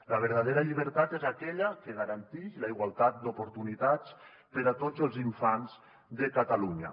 la verdadera llibertat és aquella que garantix la igualtat d’oportunitats per a tots els infants de catalunya